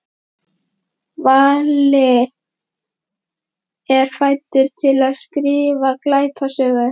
Valli er fæddur til að skrifa glæpasögur.